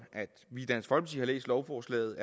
vi har læst lovforslaget